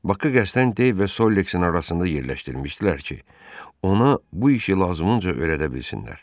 Bakı Kəstəndey və Solexin arasında yerləşdirmişdilər ki, ona bu işi lazımınca öyrədə bilsinlər.